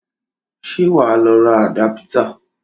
Ṣé wọ ló ra àdápítà?